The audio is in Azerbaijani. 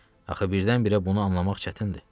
Axı birdən-birə bunu anlamaq çətindir.